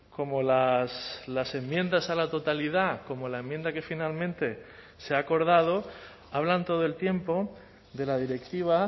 como las enmiendas a la totalidad como la enmienda que finalmente se ha acordado hablan todo el tiempo de la directiva